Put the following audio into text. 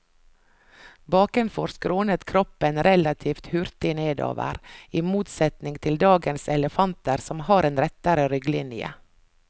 Bakenfor skrånet kroppen relativt hurtig nedover, i motsetning til dagens elefanter som har en rettere rygglinje.